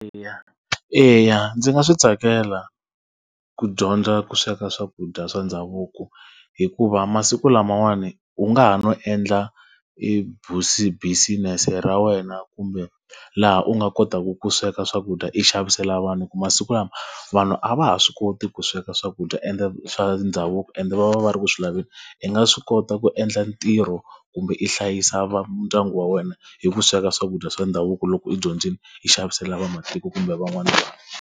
Eya eya ndzi nga swi tsakela ku dyondza ku sweka swakudya swa ndhavuko, hikuva masiku lamawani u nga ha no endla business-e ra wena kumbe laha u nga kotaka ku sweka swakudya i xavisela vanhu. Hikuva masiku lama, vanhu a va ha swi koti ku sweka swakudya ende swa ndhavuko ende va va va ri ku swi laveni. I nga swi kota ku endla ntirho kumbe i hlayisa ndyangu wa wena hi ku sweka swakudya swa ndhavuko loko i dyondzile, i xavisela vamatiko kumbe van'wana vanhu.